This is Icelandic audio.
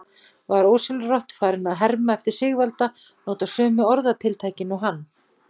Var ósjálfrátt farinn að herma eftir Sigvalda, nota sömu orðatiltækin og hann.